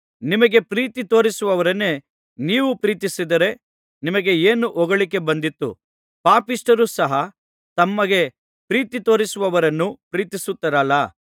ನಿಮಗೆ ಪ್ರೀತಿ ತೋರಿಸುವವರನ್ನೇ ನೀವು ಪ್ರೀತಿಸಿದರೆ ನಿಮಗೆ ಏನು ಹೊಗಳಿಕೆ ಬಂದೀತು ಪಾಪಿಷ್ಠರು ಸಹ ತಮಗೆ ಪ್ರೀತಿ ತೋರಿಸುವವರನ್ನು ಪ್ರೀತಿಸುತ್ತಾರಲ್ಲಾ